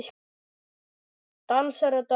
Dansar og dansar.